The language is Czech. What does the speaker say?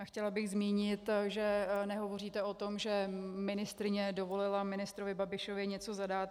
A chtěla bych zmínit, že nehovoříte o tom, že ministryně dovolila ministrovi Babišovi něco zadat.